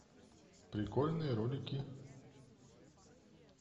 прикольные ролики